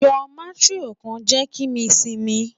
Yoo matron kan jẹ ki mi simi